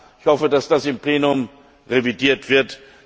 Ich hoffe, dass das im Plenum revidiert wird.